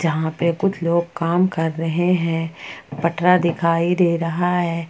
यहां पे कुछ लोग काम कर रहे हैं पटरा दिखाई दे रहा है।